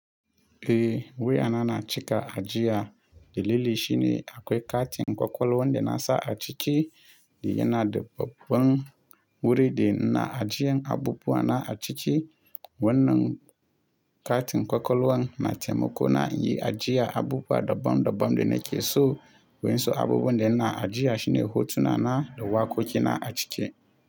Eh, wayana na cika ajiya. Dalili shine akwai katin ƙwaƙwalwan da na sa a ciki, da yana da babban wuri, da na ajiyan abubuwa na a ciki. Wannan katin ƙwaƙwalwan na taimako na yi ajiya abubuwa daban daban da nake so, wainsu abubuwan da ina ajiya shine hotuna na da waƙoƙi na a ciki.